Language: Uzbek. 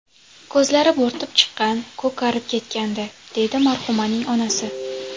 Ko‘zlari bo‘rtib chiqqan, ko‘karib ketgandi”, deydi marhumaning onasi.